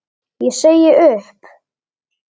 Ég segi upp!